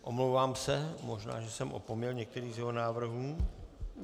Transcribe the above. Omlouvám se, možná že jsem opomněl některý z jeho návrhů.